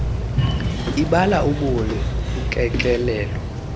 ibala ubuni ukekelelo